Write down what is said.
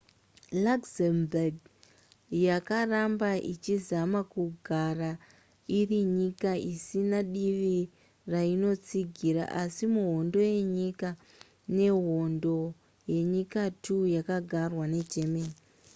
luxembourg yakaramba ichizama kugara iri nyika isina divi rainotsigira asi muhondo yenyika i nehondo yenyika ii yakagarwa negermany